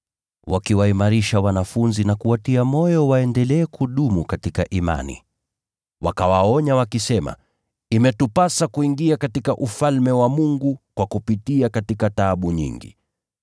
wakiwaimarisha wanafunzi na kuwatia moyo waendelee kudumu katika imani. Wakawaonya wakisema, “Imetupasa kuingia katika Ufalme wa Mungu kwa kupitia katika taabu nyingi.”